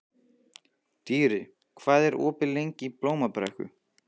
Dýri, hvað er opið lengi í Blómabrekku?